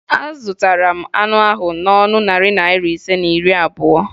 Azụtara m anụ ahụ n'ọnụ narị naịra ise na iri abụo